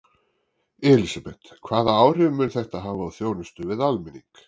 Elísabet, hvaða áhrif mun þetta hafa á þjónustu við almenning?